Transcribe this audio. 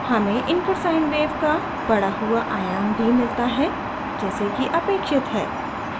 हमें input sine wave का बड़ा हुआ आयाम भी मिलता है जैसे कि अपेक्षित है